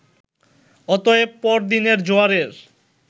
অতএব পর দিনের জোয়ারের